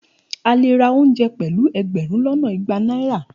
A le ra ounje pelu egberun lona igba naira.